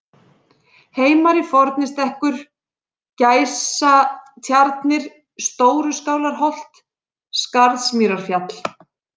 Heimari-Fornistekkur, Gæsatjarnir, Stóruskálarholt, Skarðsmýrarfjall